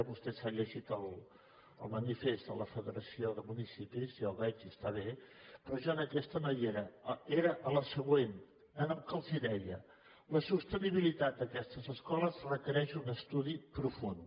vostè s’ha llegit el manifest de la federació de municipis ja ho veig i està bé però jo en aquesta no hi era era a la següent en què els deia la sostenibilitat d’aquestes escoles requereix un estudi profund